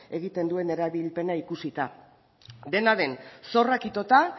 egiten duen erabilpena ikusita dena den zorrak itota